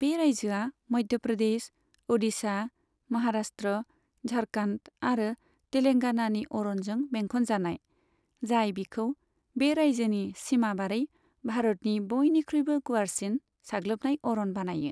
बे रायजोआ मध्य प्रदेश, अडिशा, महाराष्ट्र, झारखन्ड आरो तेलेंगानानि अरनजों बेंखनजानाय, जाय बिखौ बे रायजोनि सीमा बारै भारतनि बयनिख्रुइबो गुवारसिन साग्लोबनाय अरन बानायो।